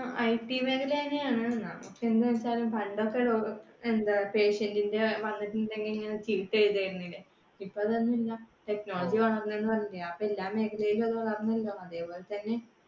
IT മേഖലയാണ് പക്ഷെ എന്താ patient ന്റെ വന്നതിന്റെ ഇങ്ങനെ ചീട്ട് എഴുതി വെക്കണത്തിന്റെ. ഇപ്പ അതൊന്നുമില്ല, technology അപ്പോ മേഖലയിലും അത് വളർന്നല്ലോ അതുപോലെതന്നെ